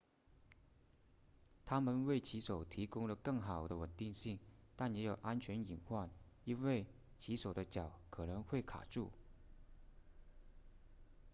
它们为骑手提供了更好的稳定性但也有安全隐患因为骑手的脚可能会卡住